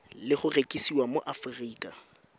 le go rekisiwa mo aforika